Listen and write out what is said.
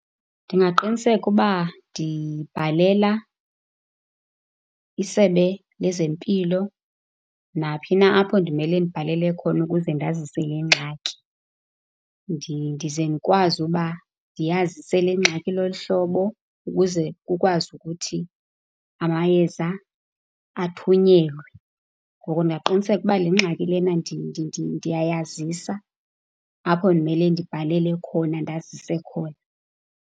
Ndingaqiniseka uba ndibhalela iSebe lezeMpilo naphi na apho ndimele ndibhalele khona ukuze ndazise le ngxaki. Ndize ndikwazi uba ndiyazise le ngxaki ilolu hlobo ukuze kukwazi ukuthi amayeza athunyelwe. Ngoko ndingaqiniseka ukuba le ngxaki lena ndiyayazisa apho ndimele ndibhalele khona, ndazise khona.